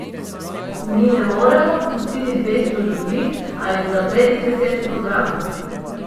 Mi ne moremo odpustiti dvesto ljudi ali zapreti deset programov.